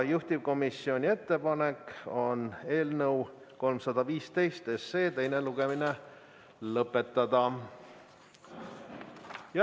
Juhtivkomisjoni ettepanek on eelnõu 315 teine lugemine lõpetada.